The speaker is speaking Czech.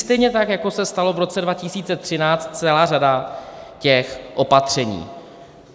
Stejně tak jako se stala v roce 2013 celá řada těch opatření.